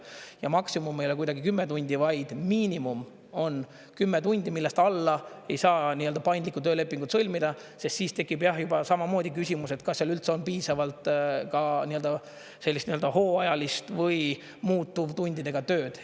Ja maksimum ei ole kuidagi 10 tundi, vaid miinimum on 10 tundi, millest alla ei saa nii-öelda paindlikku töölepingut sõlmida, sest siis tekib, jah, juba samamoodi küsimus, et kas seal üldse on piisavalt sellist nii öelda hooajalist või muutuvtundidega tööd.